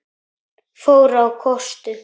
fór á kostum.